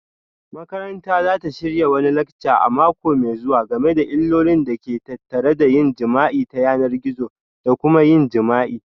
Makaranta za ta shirya wani lacca a mako mai zuwa game da illolin da ke tattare da yin jima'i ta yanar gizo da kuma yin jima'i